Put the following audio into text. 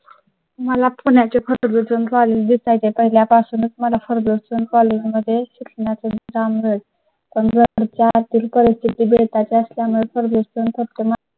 मला पुण्या च्या Ferguson college इथे च्या पहिल्या पासूनच मला Ferguson college मध्ये शिक्षणाचा मुद्दा मिळेल. पण जर तर च्या आतील परिस्थिती बेता ची असल्यामुळे प्रदूषण खात्मा.